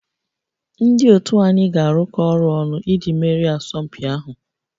Ndị otu anyị ga-arụkọ ọrụ ọnụ iji merie asọmpi ahụ